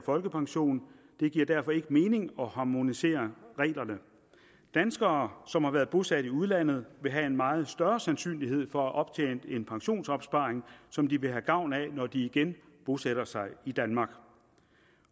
folkepension og det giver derfor ikke mening at harmonisere reglerne danskere som har været bosat i udlandet vil have en meget større sandsynlighed for at have optjent en pensionsopsparing som de vil have gavn af når de igen bosætter sig i danmark